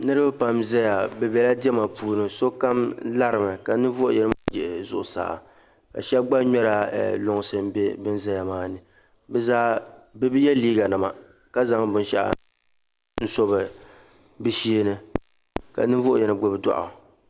Niriba pam n zaya bɛ bɛla diɛma puuni sokam larimi ka ninvuɣ'yino yiɣi zuɣusaa ka shɛba gba ŋmɛri lunsi m bɛ ban zaya maani bɛ zaa bɛ bi ye liiganima ka zaŋ binshɛɣu su binsheeni ka ninvuɣ'yino gbubi dɔɣi.